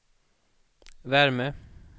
värme